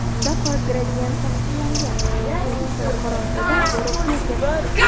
Unda qora gradiyent tasvirlangan, u tusini qorong‘udan yorug‘ga o‘zgartiradi.